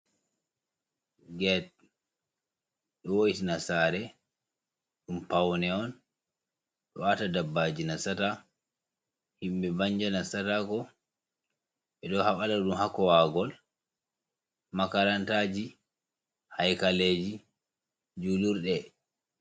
Get. Ɗo wo'tina saare, ɗum paune on, ɗo aata dabbaji nastata, himɓe banja nastatako. Ɓe ɗo haɓala ɗum haa kowaagol makarantaaji, haikaleeji, julurɗe.